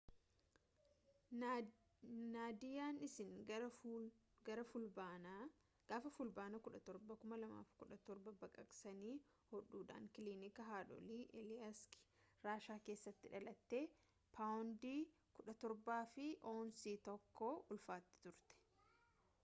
naadiyaan isiin gaafa fulbaana 17 2007 baqaqsanii hodhuudhaan kilinika haadholii aleeyiski raashaa keessatti dhalatte paawundii 17 fi aawunsii 1 ulfaatti turte